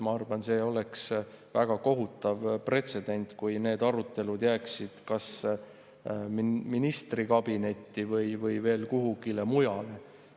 Ma arvan, et see oleks väga kohutav pretsedent, kui need arutelud jääksid kas ministri kabinetti või veel kuhugile mujale.